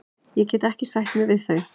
Ég get ekki sætt mig við þau.